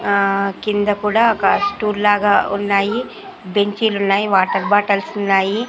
ఆ కింద కూడా ఒక స్టూల్ లాగా ఉన్నాయి బెంచీ లున్నాయి వాటర్ బాటిల్స్ ఉన్నాయి.